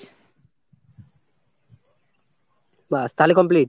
ব্যাস তাহলে complete?